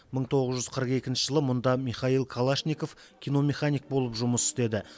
мың тоғыз жүз қырық екінші жылы мұнда михаил калашников киномеханик болып жұмыс істеді